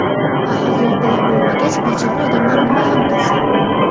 Axir yoqilg‘i bo‘lmagach, bechora odamlar nima ham qilsin?